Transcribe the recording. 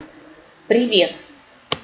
привет